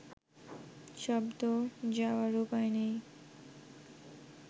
শব্দ যাওয়ার উপায় নেই